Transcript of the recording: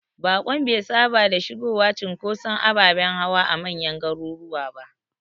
Bakon be saba da shigowa cunkoson ababen hawa a manyan garuruwa ba.